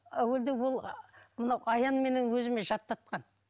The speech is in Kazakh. әуелде ол мына аянменен өзіме жаттатқан